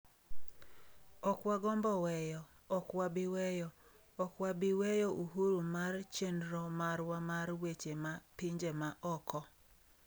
"""Ok wagombo weyo, ok wabi weyo, ok wabiweyo uhuru mar chenro marwa mar weche ma pinje ma oko."""